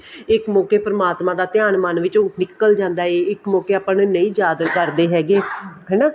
ਇੱਕ ਮੋਕੇ ਪਰਮਾਤਮਾ ਦਾ ਧਿਆਨ ਮਨ ਵਿੱਚੋਂ ਨਿੱਕਲ ਜਾਂਦਾ ਹੈ ਇੱਕ ਮੋਕੇ ਆਪਾਂ ਨਹੀਂ ਯਾਦ ਕਰਦੇ ਹੈਗੇ ਹਨਾ